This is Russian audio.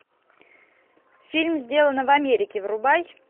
фильм сделано в америке врубай